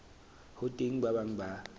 ho teng ba bang ba